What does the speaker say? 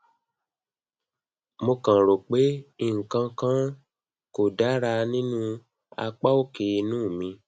mo kan rò pé nǹkan kan kò dára nínú apá òkè inu mi